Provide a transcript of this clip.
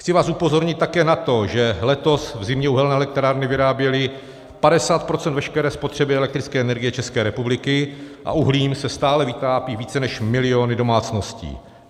Chci vás upozornit také na to, že letos v zimě uhelné elektrárny vyráběly 50 % veškeré spotřeby elektrické energie České republiky a uhlím se stále vytápí více než miliony domácností.